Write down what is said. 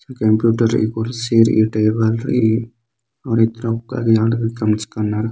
कम्प्यूटर रई कुड़सी रई टेबल रई और इतरो